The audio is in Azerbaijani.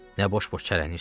Nə boş-boş çərənləyirsən?